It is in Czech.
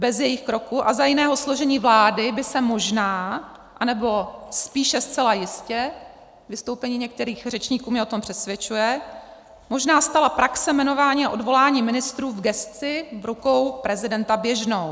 Bez jejích kroků a za jiného složení vlády by se možná, anebo spíše zcela jistě - vystoupení některých řečníků mě o tom přesvědčuje - možná stala praxe jmenování a odvolání ministrů v gesci v rukou prezidenta běžnou.